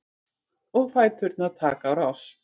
Og fæturnir taka á rás.